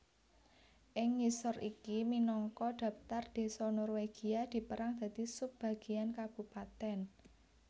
Ing ngisor iki minangka dhaptar désa Norwegia dipérang dadi sub bagean kabupatèn